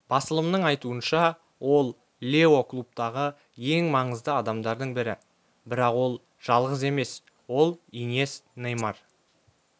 басылымның айтуынша ол лео клубтағы ең маңызды адамдардың бірі бірақ ол жалғыз емес ол иньест неймар